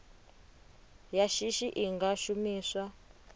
ya shishi i nga shumiswa